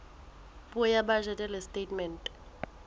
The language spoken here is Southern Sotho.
puo ya bajete le setatemente